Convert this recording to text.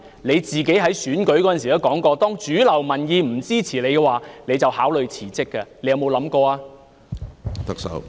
你自己在選舉時曾說，當主流民意不支持你的話，你會考慮辭職，你有否想過這樣做呢？